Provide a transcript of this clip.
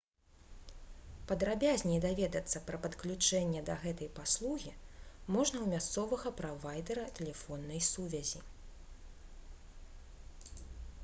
падрабязней даведацца пра падключэнне да гэтай паслугі можна ў мясцовага правайдэра тэлефоннай сувязі